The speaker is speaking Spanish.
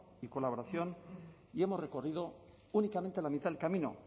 y colaboración y hemos recorrido únicamente la mitad del camino